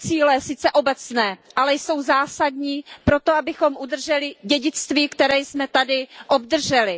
Jsou to cíle sice obecné, ale jsou zásadní proto, abychom udrželi dědictví, které jsme tady obdrželi.